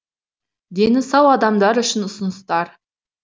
дені сау адамдар үшін ұсыныстар